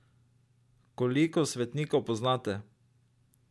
Koliko svetnikov poznate?